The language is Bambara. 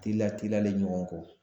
Teliya teliyalen ɲɔgɔn kɔ